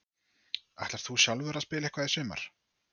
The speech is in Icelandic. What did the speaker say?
Ætlar þú sjálfur að spila eitthvað í sumar?